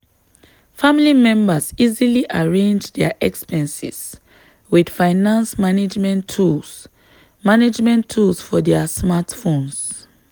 family members easily arrange dia expenses with finance management tools management tools for dia smartphones.